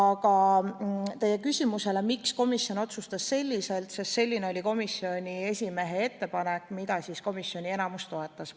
Aga teie küsimusele, miks komisjon otsustas nii, vastan, et selline oli komisjoni esimehe ettepanek, mida enamik komisjoni liikmeid toetas.